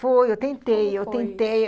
Foi, eu tentei eu tentei. Foi.